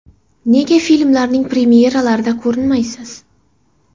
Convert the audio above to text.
Nega filmlarning premyeralarida ko‘rinmaysiz?